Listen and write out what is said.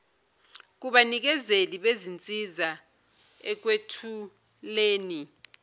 kubanikezeli bezinsiza ekwethuleni